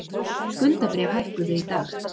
Skuldabréf hækkuðu í dag